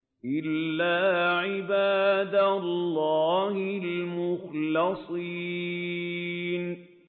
إِلَّا عِبَادَ اللَّهِ الْمُخْلَصِينَ